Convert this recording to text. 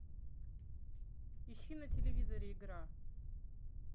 ищи на телевизоре игра